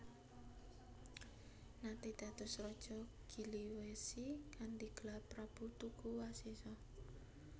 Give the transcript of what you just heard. Nate dados raja Giliwesi kanthi gelar Prabu Tuguwasesa